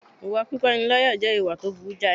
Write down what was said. Ìwà pípániláyà jẹ́ ìwà tó burú jàì